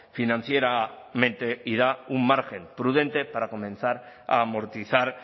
financieramente y da un margen prudente para comenzar a amortizar